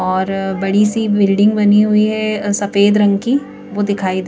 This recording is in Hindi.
और बड़ी सी बिल्डिंग बनी हुई है सफेद रंग की वो दिखाई दे--